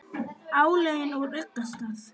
álögin úr ugga stað